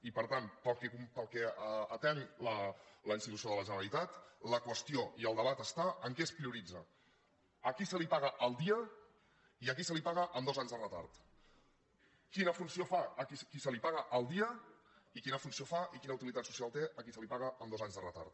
i per tant pel que respecta a la institució de la generalitat la qüestió i el debat està en què es prioritza a qui se li paga al dia i a qui se li paga amb dos anys de retard quina funció fa qui se li paga al dia i quina funció fa i quina utilitat social té a qui se li paga amb dos anys de retard